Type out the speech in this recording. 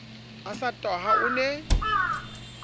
a sa tahwa o ne